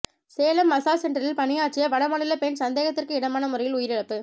Salem massage சென்டரில் பணியாற்றிய வடமாநில பெண் சந்தேகத்திற்கு இடமான முறையில் உயிரிழப்பு